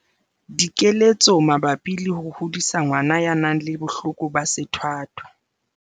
Dikeletso mabapi le ho hodisa ngwana ya nang le bohloko ba sethwathwa.